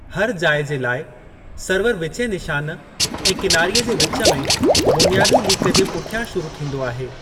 हर जाइ जे लाइ, सर्वरु विचें निशान ऐं किनारीअ जे विच में, बुनियादी लीक जे पुठियां शुरू थींदो आहे।